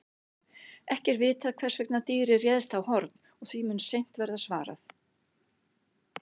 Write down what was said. Ekki er vitað hvers vegna dýrið réðst á Horn og því mun seint verða svarað.